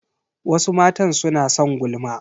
Wasu matan suna son gulma.